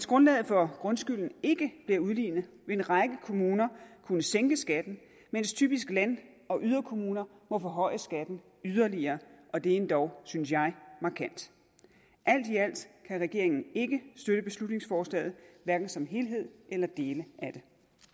grundlaget for grundskylden ikke bliver udlignet vil en række kommuner kunne sænke skatten mens typisk land og yderkommuner må forhøje skatten yderligere og det er endog synes jeg markant alt i alt kan regeringen ikke støtte beslutningsforslaget hverken som helhed eller dele af